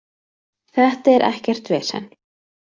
Þetta er ekkert vesen.